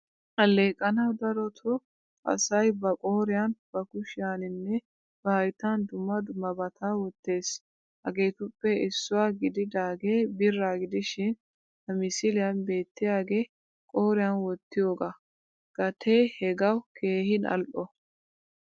Alleqanawu daroto asay ba qooriyan, ba kushiyaninne ba hayttan dumma dummabata wottees. Hageetuppe issuwaa gididage bira gidishin ha misiliyan beettiyage qoriyan wottiyooga. Gatee hagaawu keehin al'o.